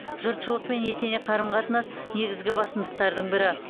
жұртшылықпен етене қарым қатынас негізгі басымдықтардың бірі